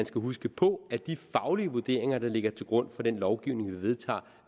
skal huske på at de faglige vurderinger der ligger til grund for den lovgivning vi vedtager